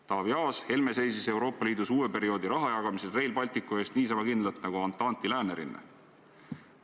Taavi Aas ütles, et Helme seisis Euroopa Liidus uue perioodi rahajagamisel Rail Balticu eest niisama kindlalt nagu Antanti läänerinne.